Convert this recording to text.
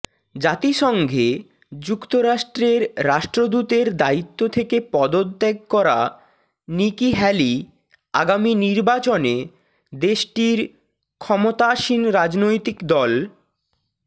জাতিসংঘে যুক্তরাষ্ট্রের রাষ্ট্রদূতের দায়িত্ব থেকে পদত্যাগ করা নিকি হ্যালি আগামী নির্বাচনে দেশটির ক্ষমতাসীন রাজনৈতিক দল